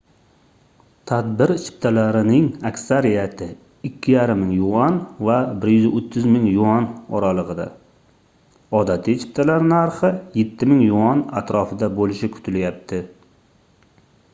tadbir chiptalarining aksariyati 2500 ¥ va 130 000 ¥ oralig'ida odatiy chiptalar narxi 7000 ¥ atrofida bo'lishi kutilyapti